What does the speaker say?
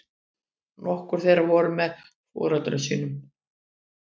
Nokkur þeirra voru með foreldrum sínum